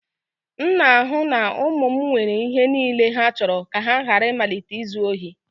M na-ahụ na ụmụ m nwere ihe niile ha chọrọ ka ha ghara ịmalite izu ohi